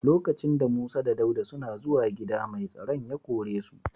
Lokacin da Musa da Dauda suna zuwan gida, mai tsaron ya kore su.